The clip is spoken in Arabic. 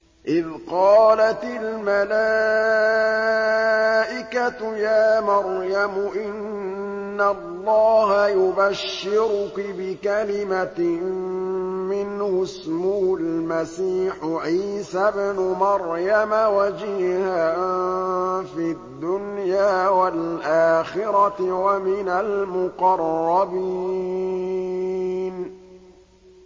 إِذْ قَالَتِ الْمَلَائِكَةُ يَا مَرْيَمُ إِنَّ اللَّهَ يُبَشِّرُكِ بِكَلِمَةٍ مِّنْهُ اسْمُهُ الْمَسِيحُ عِيسَى ابْنُ مَرْيَمَ وَجِيهًا فِي الدُّنْيَا وَالْآخِرَةِ وَمِنَ الْمُقَرَّبِينَ